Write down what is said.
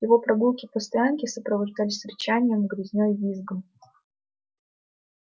его прогулки по стоянке сопровождались рычанием грызней визгом